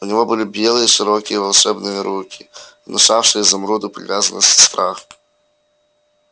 у него были белые широкие волшебные руки внушавшие изумруду привязанность и страх